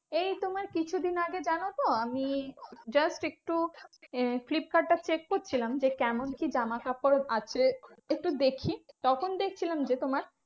এই তোমার কিছুদিন আগে জানতো আমি just একটু আহ ফ্লিপকার্ড টা check করছিলাম যে, কেমন কি জামাকাপড় আছে একটু দেখি? তখন দেখছিলাম যে তোমার